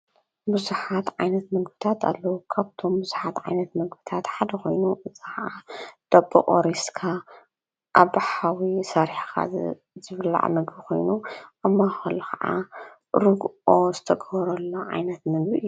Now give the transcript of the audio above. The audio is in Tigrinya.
ብሱኃት ዓይነት መግብታት ኣለዉ ካብቶም ሙዙኃት ዓይነት መግብታት ሓደ ኾይኑ ፀኸዓ ደብ ኦሬስካ ኣብሓዊ ሠሪሕኻ ዝብላዕ ምግ ኾይኑ ኣማኸል ኸዓ ርግኦ ዝተጐወረ ሎ ዓይነት ምግቢእዩ።